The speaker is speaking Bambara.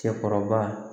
Cɛkɔrɔba